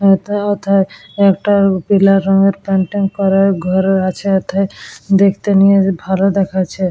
এতা ওথায় একটা পিলা রঙের পেন্টিং করা ঘর আছে এথায় দেখতে নিয়ে ভালো দেখাচ্ছে।